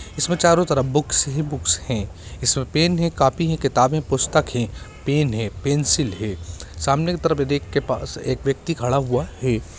इसमें चारों तरफ बुक्स ही बुक्स हैं इसमें पेन हैं कापी हैं किताबें पुस्तक हैं पेन है पेंसिल है सामने की तरफ रैक के पास एक व्यक्ति खड़ा हुआ है|